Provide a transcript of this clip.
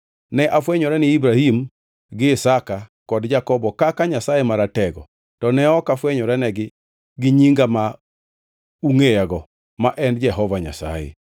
Ne afwenyora ne Ibrahim gi Isaka kod Jakobo kaka Nyasaye Maratego, to ne ok afwenyoranegi gi nyinga ma ungʼeyago ma en Jehova Nyasaye.